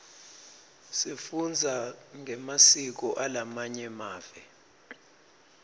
sifundza ngemasiko alamanye mave